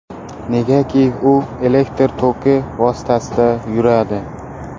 Negaki, u elektr toki vositasida yuradi.